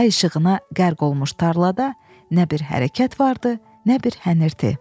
Ay işığına qərq olmuş tarlada nə bir hərəkət var idi, nə bir hənirti.